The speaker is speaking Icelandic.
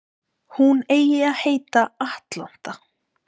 Hún eigi að heita Atlanta